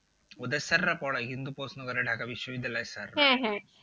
ওদের sir রা পড়ায় কিন্তু প্রশ্ন করে ঢাকা বিশ্ব বিদ্যালয়ের sir